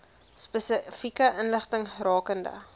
spesifieke inligting rakende